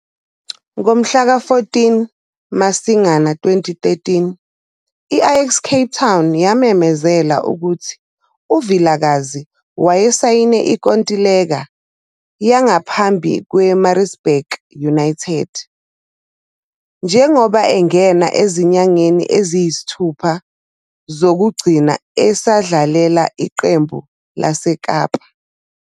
Ngomhlaka-14 Masingana 2013 i-Ajax Cape Town yamemezela ukuthi uVilakazi wayesayine inkontileka yangaphambi kweMaritzbur United njengoba angena ezinyangeni eziyisithupha zokugcina esadlalela iqembu laseKapa.